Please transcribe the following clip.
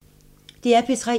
DR P3